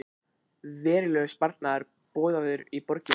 Verulegur sparnaður boðaður í borginni